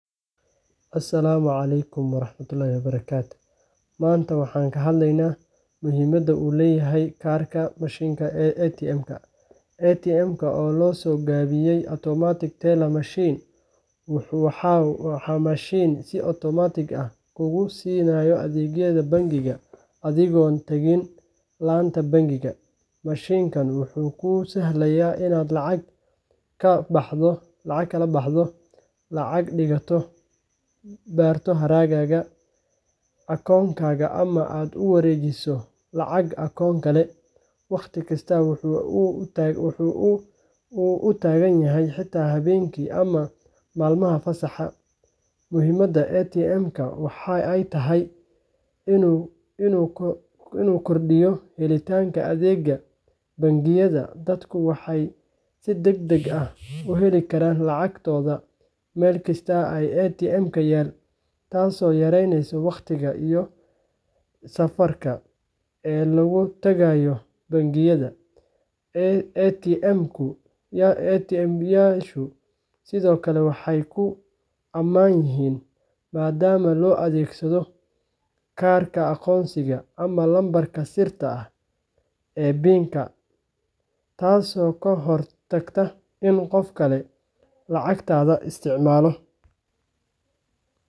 Asalaamu calaykum. Maanta waxaan ka hadlaynaa muhiimadda mishiinka ATM-ka. ATM-ka, oo loo soo gaabiyo Automated Teller Machine, waa mishiin si otomaatig ah kuu siiya adeegyo bangi adigoon tagin laanta bangiga. Mishiinkan wuxuu kuu sahlayaa inaad lacag ka baxdo, lacag dhigato, baarto hadhaaga akoonkaaga, ama aad u wareejiso lacag akoon kale, waqti kasta oo aad u baahato – xitaa habeenkii ama maalmaha fasaxa ah. Muhiimadda ATM-ka waxa ay tahay inuu kordhiyo helitaanka adeegyada bangiyada. Dadku waxay si degdeg ah u heli karaan lacagtooda meel kasta oo ATM ah yaal, taasoo yareyneysa waqtiga iyo kharashaadka safarka ee lagu tago bangiga. ATM-yadu sidoo kale waa kuwo ammaan ah, maadaama la adeegsado kaar aqoonsi iyo lambarka sirta ah taasoo ka hortagta in qof kale lacagtaada isticmaalo.